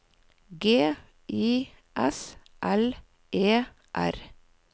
G I S L E R